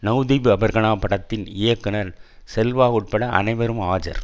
நவ்தீப் அபர்ணா படத்தின் இயக்குனர் செல்வா உட்பட அனைவரும் ஆஜர்